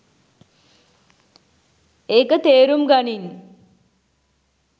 ඒක තේරුම් ගනින්